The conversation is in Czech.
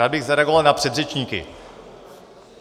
Rád bych zareagoval na předřečníky.